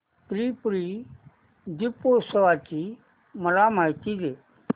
त्रिपुरी दीपोत्सवाची मला माहिती दे